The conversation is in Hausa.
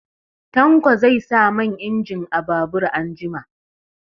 Tanko zai sa man injin a babur anjima.